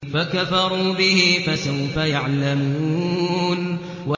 فَكَفَرُوا بِهِ ۖ فَسَوْفَ يَعْلَمُونَ